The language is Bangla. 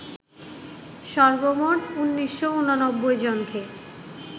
সর্বমোট ১৯৮৯ জনকে